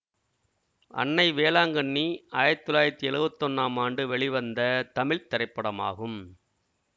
அன்னை வேளாங்கண்ணி ஆயிரத்தி தொள்ளாயிரத்தி எழுவத்தி ஒன்னாம் ஆண்டு வெளிவந்த தமிழ் திரைப்படமாகும்